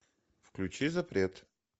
включи запрет